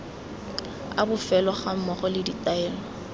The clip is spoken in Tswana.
a bofelo gammogo le ditaelo